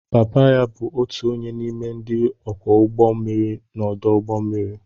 Papa ya bụ otu onye n'ime ndị ọkwọ ụgbọ mmiri n'ọdụ ụgbọ mmiri